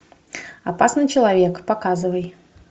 опасный человек показывай